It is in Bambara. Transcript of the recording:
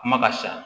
Kuma ka sa